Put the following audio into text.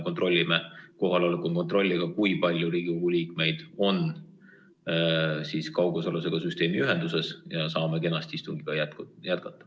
Teeme kohaloleku kontrolli, kui palju Riigikogu liikmeid on kaugosaluse süsteemiga ühenduses, ja saame kenasti istungit jätkata.